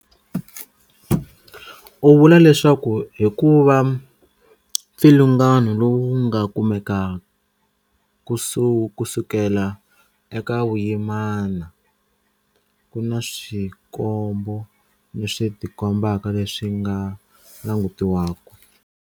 U vula leswaku hikuva mpfilungano lowu wu nga kumeka kusukela eka vuyimana, ku na swikombo leswi tikombaka leswi swi nga langutiwaka.